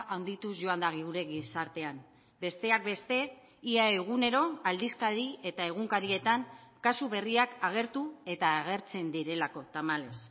handituz joan da gure gizartean besteak beste ia egunero aldizkari eta egunkarietan kasu berriak agertu eta agertzen direlako tamalez